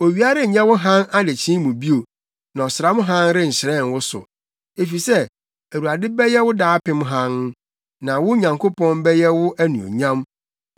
Owia renyɛ wo hann adekyee mu bio na ɔsram hann renhyerɛn wo so, efisɛ Awurade bɛyɛ wo daapem hann, na wo Nyankopɔn bɛyɛ wo anuonyam.